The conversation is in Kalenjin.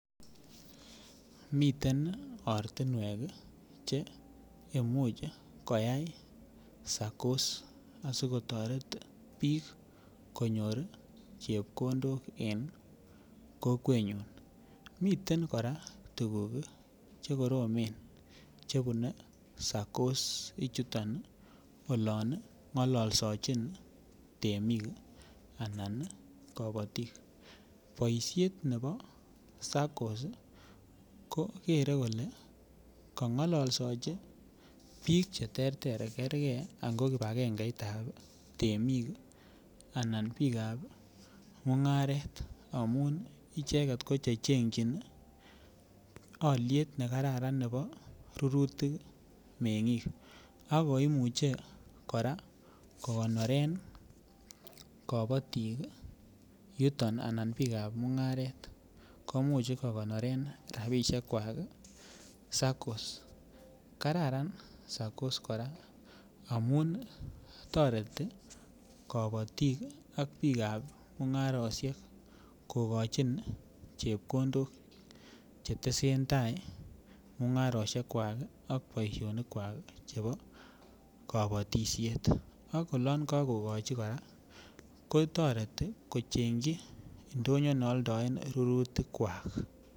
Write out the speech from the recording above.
Miten ortinwek cheimuch koyai SACCOs asikotoret biik konyor ii chepkondok en kokwenyun miten kora tukuk chekoromen chebune SACCOs ichuton olon ng'ololsechin temik anan kapatik boisiet ne bo SACCOs koker kole kong'ololsechi biik cheterter kerke ango kipakengeitab temik anan biikab mung'aret amun icheket ko chechengyin alyet nekararan ne bo rurutik meng'ik ako imuche kokonoren kabatik yuton ana biikab mung'aret komuch ii kokonoren rapisiekwak SACCOs, kararan SACCOs kora amun toreti kapatik ak biikab mung'arosiek kokochin chepkondok chetesen tai mung'arosiekwak ak boisionikwak chebo kabatisiet ak olon kokokochi kora kotoreti kochengyi ndonyo nealdoen rurutikwak.